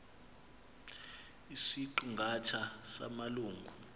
isiqi ngatha samalungu